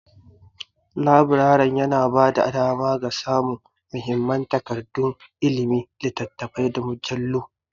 Laburaren yana ba da dama ga samun muhimman takardun ilimi, littattafai, da mujallu.